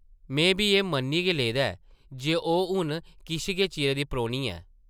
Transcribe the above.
में बी एह् मन्नी गै लेदा ऐ जे ओह् हून किश गै चिरै दी परौह्नी ऐ ।